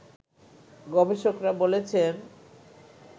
গবেষকরা বলছেন